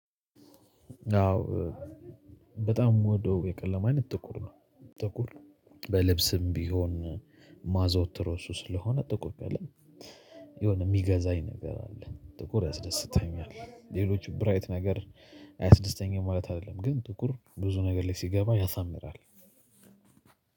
አዎ በጣም የምወደው የቀለም አይነት ጥቁር ነው። ጥቁር በልብስም ቢሆን ማዘወትረው እሱን ስለሆነ ጥቁር ነው ያለኝ። የሆነ የሚገዛኝ ነገር አለ። ጥቁር ያስደስተኛል ሌሎች ብራይት ነገር አያስደስተኝም ማለት አይደለም። ግን ጥቁር ብዙ ነገር ላይ ሲገባ ያሳምራል።